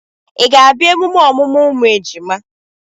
Ị ga-abịa emume ọmụmụ ụmụ ejima?